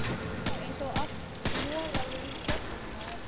Eins og allt moraði í krökkum maður.